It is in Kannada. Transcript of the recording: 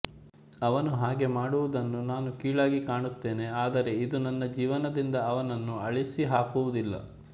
ಅವನು ಹಾಗೆ ಮಾಡಿರುವುದನ್ನು ನಾನು ಕೀಳಾಗಿ ಕಾಣುತ್ತೇನೆ ಆದರೆ ಇದು ನನ್ನ ಜೀವನದಿಂದ ಅವನನ್ನು ಅಳಿಸಿಹಾಕುವುದಿಲ್ಲ